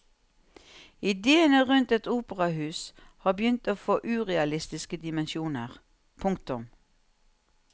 Idéene rundt et operahus har begynt å få urealistiske dimensjoner. punktum